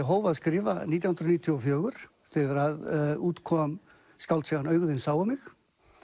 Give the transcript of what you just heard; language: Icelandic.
hóf að skrifa nítján hundruð níutíu og fjögur þegar að út kom skáldsagan augu þín sáu mig